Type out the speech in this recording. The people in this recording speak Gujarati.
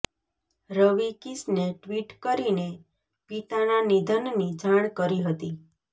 રવિ કિશને ટ્વિટ કરીને પિતાના નિધનની જાણ કરી હતી